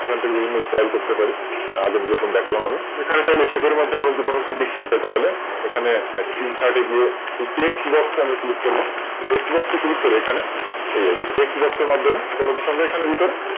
এখান থেকে বিভিন্ন Style করতে পারি তার আগে যেরকম দেখালাম আমি। এখানে ধরুন Sheet এর মধ্যে আমরা ধরুন কিছু লিখতে চাই এখানে Insert এগিয়ে Text box আমরা Click করব এই Text box এ Click করে এখানে এই আর কি Text box এর মাধ্যমে কোন কিছু আমরা ভিতরে